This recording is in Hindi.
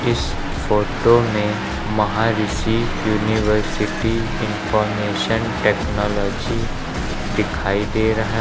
इस फोटो में महऋषि यूनिवर्सिटी इनफॉरमेशन टेक्नोलॉजी दिखाई दे रहा--